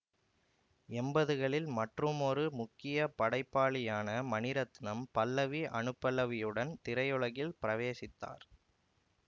எம்பதுகளில் மற்றுமொரு முக்கிய படைப்பாளியான மணிரத்னம் பல்லவி அனுபல்லவியுடன் திரையுலகில் பிரவேசித்தார்